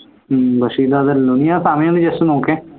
ഹും പക്ഷേ ഇത് അതല്ലല്ലോ നീ ആ സമയം ഒന്ന് just നോക്